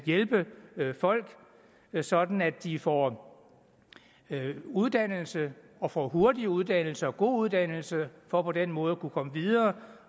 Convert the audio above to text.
hjælpe folk sådan at de får uddannelse og får hurtig uddannelse og får god uddannelse for på den måde at kunne komme videre